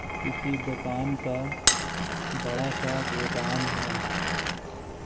किसी दुकान का बड़ा सा गोदाम है।